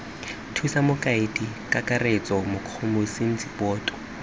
thusa mokaedi kakaretso mokomisinara boto